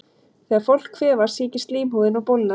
Þegar fólk kvefast sýkist slímhúðin og bólgnar.